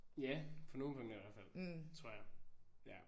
Ja på nogle punkter i hvert fald. Tror jeg. Ja